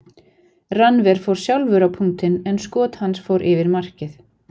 Rannver fór sjálfur á punktinn en skot hans fór yfir markið.